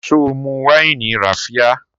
Sọ mú wàyínì ràfíà?